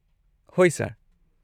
ꯍꯣꯏ, ꯁꯔ꯫